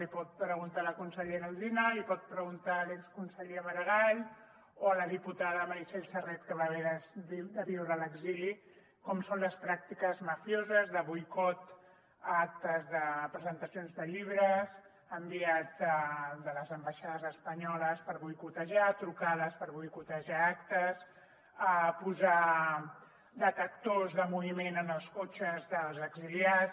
ho pot preguntar a la consellera alsina ho pot preguntar a l’exconseller maragall o a la diputada meritxell serret que va haver de viure a l’exili com són les pràctiques mafioses de boicot a actes de presentacions de llibres enviats de les ambaixades espanyoles per boicotejar trucades per boicotejar actes posar detectors de moviment en els cotxes dels exiliats